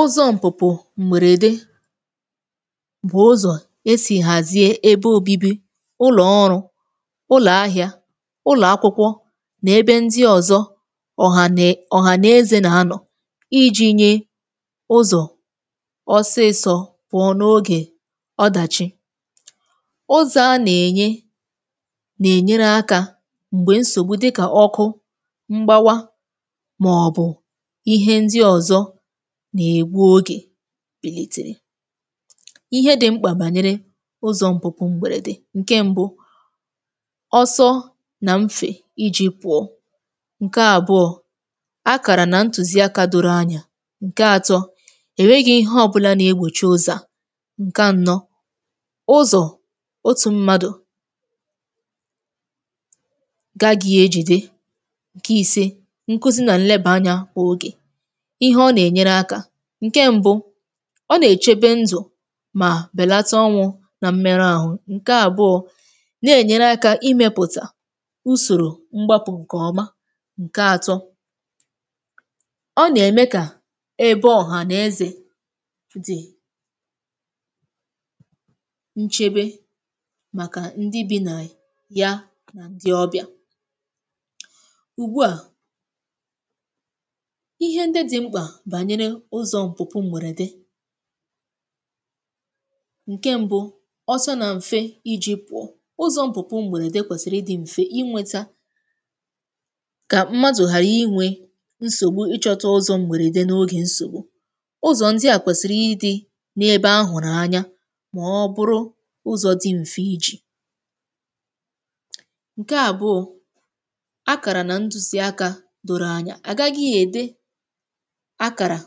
Ụzọ̇ m̀pùpù m̀bèrède bụ̀ ụzọ̀ esì hàzie ebe obibi, ụlọ̀ ọrụ, ụlọ̀ ahị̇ȧ, ụlọ̀ akwụkwọ nà ebe ndị ọ̀zọ ọ̀hànè ọ̀hànezė nà anọ̀, iji̇nyė ụzọ̀ Ọsịsọ pụọ na ogè ọdàchi, ụzọ̀ a nà-ènye nà-ènyere akȧ m̀gbè nsògbu dịkà ọkụ Mgbawa, màọbụ̀ ihe ndị ọ̀zọ na egbu oge Ihe dị̇ mkpà gbànyere ụzọ̀ mpupu m̀bèrède: ǹke mbụ, ọsọ nà mfè iji̇ pụọ; ǹke àbụọ, akàrà nà ntụ̀ziaka doro anya; ǹke atọ, èweghi ihe ọ̇bụ̇la nà-egbòchi ụzọ̀ à; ǹke anọ, ụzọ̀ otù mmadụ̀ Gaghị̇ ejìde; ǹke ìse, nkuzi nà nleba ànyȧ ogè. Ihe ọ̀na-enyere aka: ǹke mbu̇, ọ nà-èchebe ndụ̀ mà bèlata ọnwụ̇ nà mmerụ àhụ; ǹke àbụọ, na-ènyere akȧ imėpụ̀tà usòrò mgbàpụ̀ ǹkè ọma; ǹke atọ Ọ nà-ème kà ebe ọ̀hànàeze dị̀ Nchebe màkà ndị bi nà ya na ndị ọbịà. Ùgbu a Ihe ndị dị mkpa banyere ụzọ̇ mpupu m̀bèrède ǹke mbu̇, ọsọ nà m̀fe iji̇ pụọ, ụzọ̇ mpùpù m̀bèrède kwèsìrì ịdị̇ m̀fe inwėtȧ Kà mmadụ̀ ghàra inwė nsògbu ịchọ̇ta ụzọ̇ m̀bèrède n’ogè nsògbu. Ụzọ̇ ndị à kwèsìrì ịdị̇ n’ebe ahụ̀rụ̀ anya mà ọ bụrụ ụzọ̇ dị m̀fe iji̇ ǹke àbụọ̇, akàrà nà ndùsìaka dòrò anya. Àgaghị ède Akàrà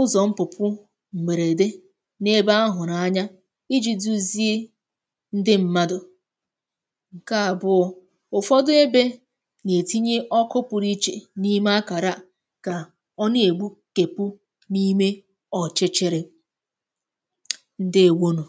Ụzọ̇ mpupu m̀bèrède n’ebe ahụ̀rụ̀ anya iji̇ duzie ndị ṁmȧdụ̀. ǹke àbụọ̇, ụ̀fọdụ ebe nà-ètinye ọkụ pụrụ iche n’ime akàra a kà ọ na-ègbu tepu n’ime ọ̀chịchịrị. Ǹdeewonu.